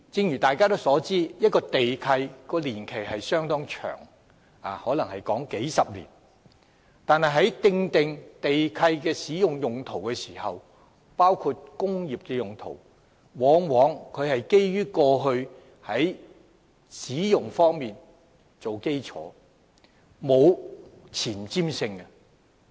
眾所周知，地契的年期相當長，動輒長達數十年，但地契所訂的土地用途，包括工業用途，往往建基於土地過去的用途，並無前瞻性。